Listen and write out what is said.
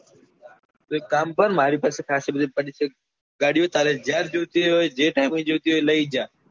તો એક કામ કર માર પાસે ખસી બધી પડી છે ગાડીઓ તારે જયારે જોઈતી હોય જે time જોઈતી હોય લઇ જા